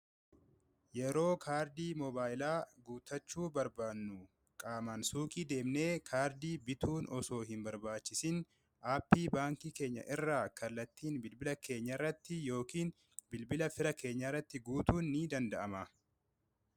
yeroo kaardii mobaailaa guutachuu barbaannu qaamaan suuqii deemnee kaardii bituun osoo hin barbaachisin aappii baankii keenya irraa kallattiin bilbila keenya irratti yookiin bilbila fira keenya irratti guutuun ni danda'ama